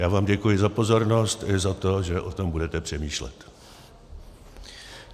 Já vám děkuji za pozornost, i za to, že o tom budete přemýšlet.